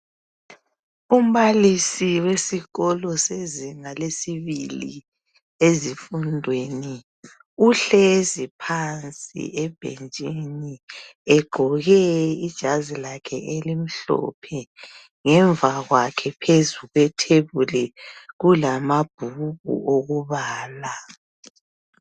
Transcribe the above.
Umbalisi wesikolo sezinga lesibili ezifundweni uhlezi phansi ebhentshini egqoke ijazi lakhe elimhlophe ngemva kwakhe phezu kwethebuli kulamabhuku okubala.